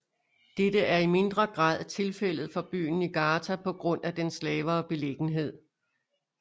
Dette er i mindre grad tilfældet for byen Niigata på grund af dens lavere beliggenhed